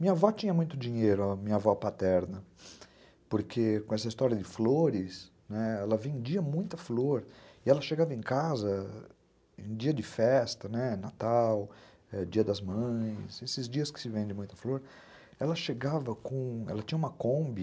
Minha avó tinha muito dinheiro, minha avó paterna, porque com essa história de flores, né, ela vendia muita flor e ela chegava em casa em dia de festa, né, Natal, Dia das Mães, esses dias que se vende muita flor, ela chegava com, ela tinha uma Kombi